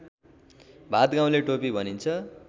भादगाउँले टोपी भनिन्छ